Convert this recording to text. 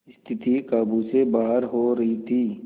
स्थिति काबू से बाहर हो रही थी